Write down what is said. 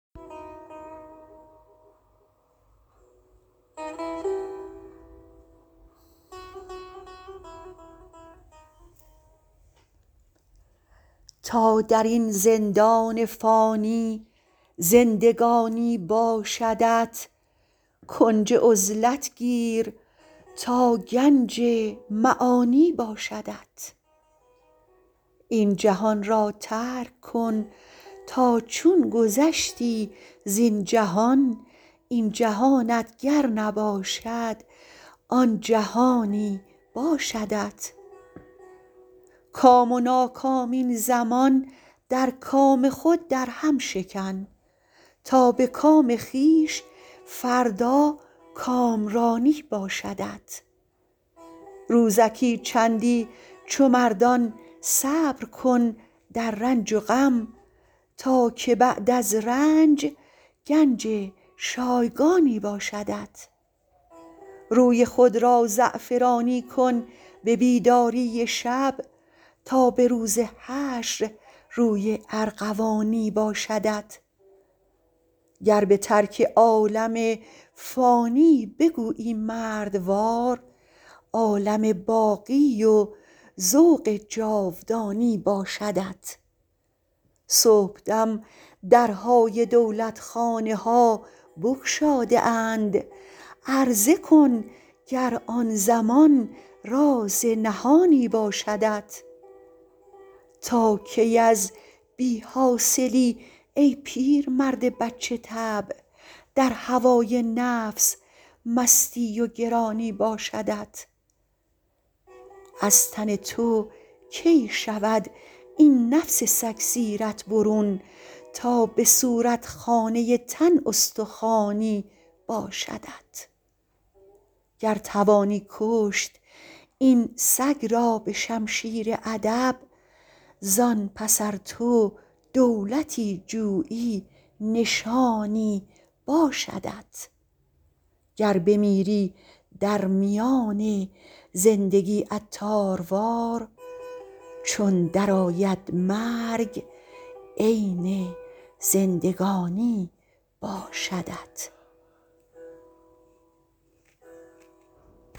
تا درین زندان فانی زندگانی باشدت کنج عزلت گیر تا گنج معانی باشدت این جهان را ترک کن تا چون گذشتی زین جهان این جهانت گر نباشد آن جهانی باشدت کام و ناکام این زمان در کام خود درهم شکن تا به کام خویش فردا کامرانی باشدت روزکی چندی چو مردان صبر کن در رنج و غم تا که بعداز رنج گنج شایگانی باشدت روی خود را زعفرانی کن به بیداری شب تا به روز حشر روی ارغوانی باشدت گر به ترک عالم فانی بگویی مردوار عالم باقی و ذوق جاودانی باشدت صبحدم درهای دولتخانه ها بگشاده اند عرضه کن گر آن زمان راز نهانی باشدت تا کی از بی حاصلی ای پیرمرد بچه طبع در هوای نفس مستی و گرانی باشدت از تن تو کی شود این نفس سگ سیرت برون تا به صورت خانه تن استخوانی باشدت گر توانی کشت این سگ را به شمشیر ادب زان پس ار تو دولتی جویی نشانی باشدت گر بمیری در میان زندگی عطاروار چون درآید مرگ عین زندگانی باشدت